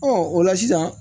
o la sisan